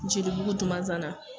Jelibugu Dumazana